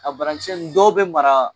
A bara kisɛ nn dɔw bɛ mara